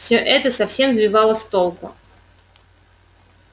всё это совсем сбивало с толку